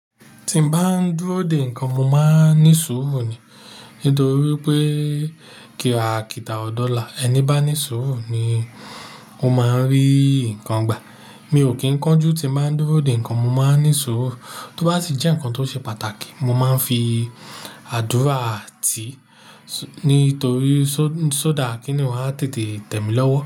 Tí mo bá ń dúró de ǹkan, mo máa ń ní sùúrù ni nítorí pé kíra kìtà ọ̀dọ́ là, ẹni bá ní sùúrù ni ó máa ń rí ǹkan gbà. Mi ò kí ń kánjú tí mo bá ń dúró de ǹkan, mo má ń ní sùúrù. Tó bá sì jẹ́ ǹkan tó ṣe pàtàkì, mo má ń fi àdúrà háà tì í nítorí sódà kíni ọ́un á tètè tẹ̀ mí lọ́wọ́.